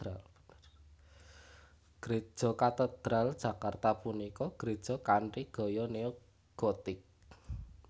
Gréja Katedral Jakarta punika gréja kanthi gaya neo gotik